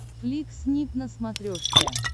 флик снип на смотрешке